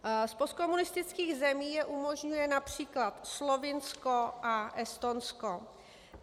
Z postkomunistických zemí je umožňuje například Slovinsko a Estonsko.